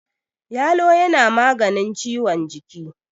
yalo yana maganin ciwon jiki